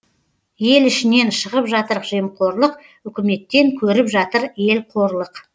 ел ішінен шығып жатыр жемқорлық үкіметтен көріп жатыр ел қорлық